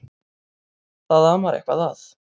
Það amar eitthvað að.